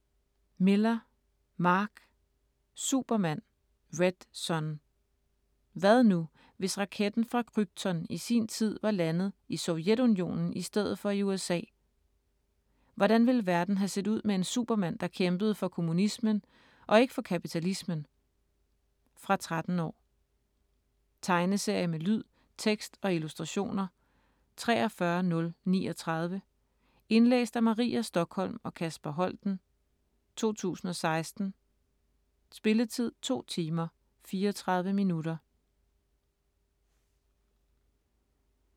Millar, Mark: Superman - red son Hvad nu, hvis raketten fra Krypton i sin tid var landet i Sovjetunionen i stedet for i USA. Hvordan ville verden have set ud med en Superman, der kæmpede for kommunismen og ikke for kapitalismen? Fra 13 år. Tegneserie med lyd, tekst og illustrationer 43039 Indlæst af Maria Stokholm og Kasper Holten, 2016. Spilletid: 2 timer, 34 minutter.